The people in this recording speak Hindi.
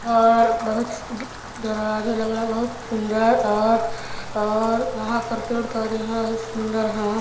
और बहुत दरवाजा लगा है बहुत सुंदर और यहाँ पर पेड़ -पौधे हैं बहुत सुंदर हैं।